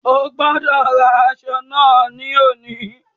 O gbọ́dọ̀ rán aṣọ náà ní òní.